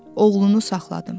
Oğlunu saxladım.